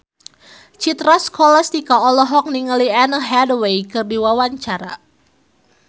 Citra Scholastika olohok ningali Anne Hathaway keur diwawancara